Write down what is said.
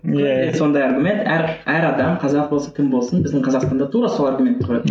иә иә күнде сондай аргумент әр әр адам қазақ болсын кім болсын біздің қазақстан да тура сол аргументті қояды